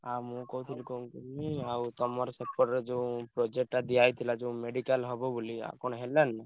ଆଉ ମୁଁ କହୁଥିଲି କଣ କି ଆଉ ତମର ସେପଟରେ ଯୋଉ project ଟା ଦିଆହେଇଥିଲା ଯୋଉ medical ହବ ବୋଲି ଆଉ କଣ ହେଲାନି?